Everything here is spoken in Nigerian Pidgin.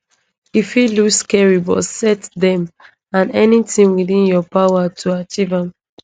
e fit look scary but set dem and anytin within your power to achieve am